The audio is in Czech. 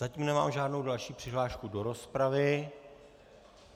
Zatím nemám žádnou další přihlášku do rozpravy.